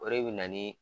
O de bɛ na ni